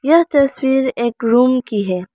यह तस्वीर एक रूम की है।